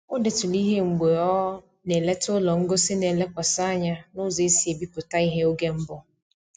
O deturu ihe mgbe ọ na-eleta ụlọ ngosi na-elekwasị anya n'ụzọ e si ebipụta ihe n'oge mbụ